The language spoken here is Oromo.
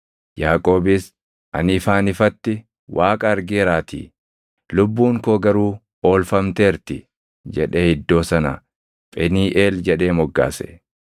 Yaaqoobis, “Ani ifaan ifatti Waaqa argeeraatii; lubbuun koo garuu oolfamteerti” jedhee iddoo sana Pheniiʼeel jedhee moggaase.